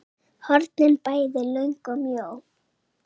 hornin bæði löng og mjó.